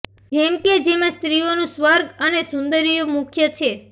જેમ કે જેમાં સ્ત્રીઓનું સ્વર્ગ અને સુંદરીયો મુખ્ય છે